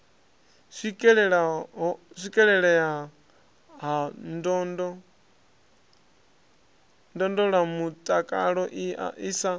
swikelelea ha ndondolamutakalo i sa